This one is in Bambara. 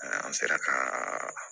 An sera ka